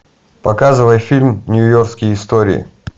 показывай фильм нью йоркские истории